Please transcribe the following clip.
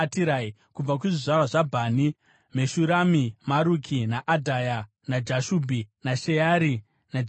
Kubva kuzvizvarwa zvaBhani: Meshurami, Maruki, naAdhaya, naJashubhi, naSheari naJeremoti.